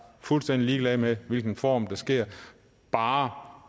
fuldstændig ligeglad med hvilken form det sker i bare